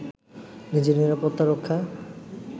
নিজের নিরাপত্তা রক্ষায়